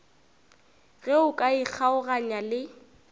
ge o ka ikgaoganya le